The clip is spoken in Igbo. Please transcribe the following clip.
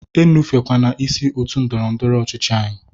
E nufukwene isi otu ndọrọ ndọrọ ọchịchị anyị!